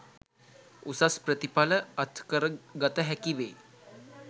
උසස් ප්‍රතිඵල අත්කර ගත හැකි වේ